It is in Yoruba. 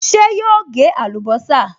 Ṣé yóò gé àlùbọ́sà?